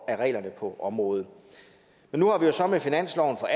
af reglerne på området nu har vi jo så med finansloven for